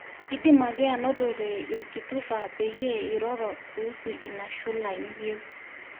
idim ake anotore ilkituka peyie iroro kuusu ina shula niyieu